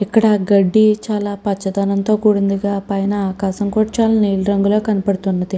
ఇక్కడ గడ్డి పచ్చదనం తో కుడి ఉంది.